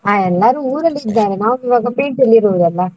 ಹಾ ಎಲ್ಲರೂ ಊರಲ್ಲಿ ಇದ್ದಾರೆ, ನಾವು ಇವಾಗ ಪೇಟೆಯಲ್ಲಿ ಇರುದಲ್ಲ.